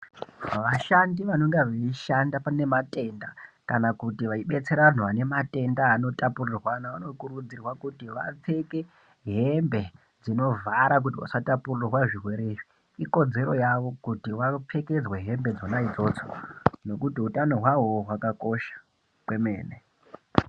Vashandi vanonga veishanda pane matenda ,kana kuti veidetsera vanhu vane matenda anotapurirwana vanokurudzirwa kuti vapfeke hembe dzinovhara kuti vasatapurirwe zvirwere izvi ikodzero yavo kuti vapfekedzwe hembe dzona idzodzo nekuti utano hwaovo hwakakosha kwemene.